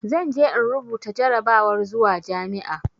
Zan je in rubuta jarrabawar zuwa jami'a.